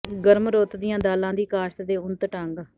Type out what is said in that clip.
ਗਰਮ ਰੁੱਤ ਦੀਆਂ ਦਾਲਾਂ ਦੀ ਕਾਸ਼ਤ ਦੇ ਉੱਨਤ ਢੰਗ